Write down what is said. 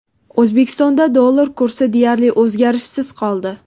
O‘zbekistonda dollar kursi deyarli o‘zgarishsiz qoldi.